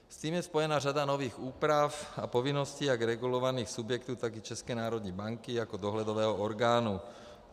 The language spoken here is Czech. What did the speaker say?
S tím je spojena řada nových úprav a povinností jak regulovaných subjektů, tak i České národní banky jako dohledového orgánu.